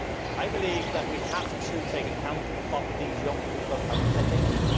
I believe that we have to take account of what these young people are thinking.